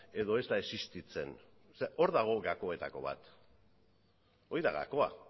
edo ez da existitzen zer hor dago gakoetako bat hori da gakoa